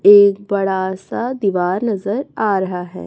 एक बड़ा सा दीवार नजर आ रहा है।